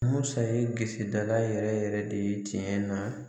Musa ye bisi dala yɛrɛ yɛrɛ de tiɲɛ na